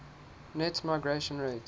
net migration rate